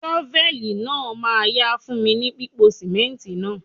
Ṣọfẹ́lì náà ma yá fún mi ní pípo sìmẹ́ǹtì náà..